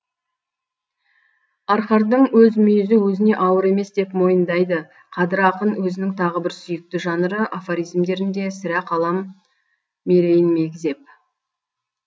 арқардың өз мүйізі өзіне ауыр емес деп мойындайды қадыр ақын өзінің тағы бір сүйікті жанры афоризмдерінде сірә қалам мерейін мегзеп